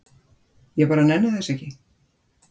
ég bara nenni þessu ekki